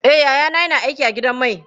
Eh, yayana yana aiki a gidan mai.